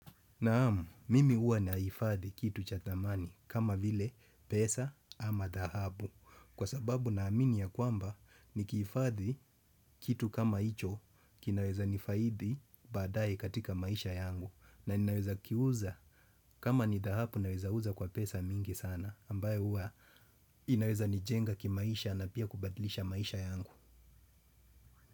Naam, mimi huwa naifadhi kitu cha thamani kama vile pesa ama dahabu kwa sababu na amini ya kwamba nikihifadhi kitu kama hicho kinaweza nifaidi badai katika maisha yangu na ninaweza kiuza kama ni dhahabu naweza uza kwa pesa mingi sana ambaye uwa inaweza nijenga kimaisha na pia kubadlisha maisha yangu.